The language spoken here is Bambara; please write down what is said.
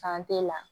la